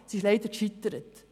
Sie ist leider gescheitert.